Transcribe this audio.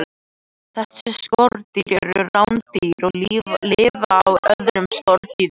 Þessi skordýr eru rándýr og lifa á öðrum skordýrum.